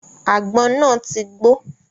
Àgbọn náà ti gbó.